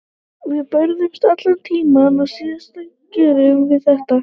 Við börðumst allan tímann og síðan gerum við þetta.